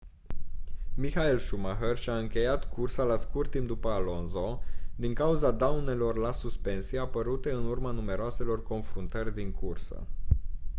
michael schumacher și-a încheiat cursa la scurt timp după alonso din cauza daunelor la suspensii apărute în urma numeroaselor confruntări din cursă